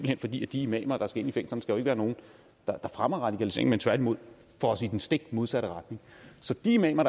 hen fordi de imamer der skal ind i fængslerne skal være nogen der fremmer radikalisering men tværtimod får os i den stikmodsatte retning så de imamer